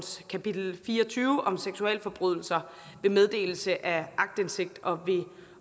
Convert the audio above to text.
kapitel fire og tyve om seksualforbrydelser ved meddelelse af aktindsigt og ved